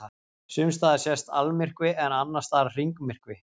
Sumstaðar sést almyrkvi en annars staðar hringmyrkvi.